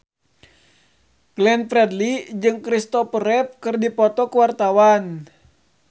Glenn Fredly jeung Christopher Reeve keur dipoto ku wartawan